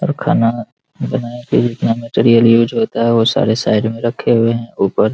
और खाना बनाने के लिए जितना मटेरियल यूज़ होता है वो सारे साइड में रखे हुए हैं ऊपर।